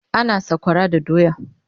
ana sakwara da doya